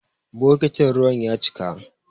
Bokitin ruwan ya cika.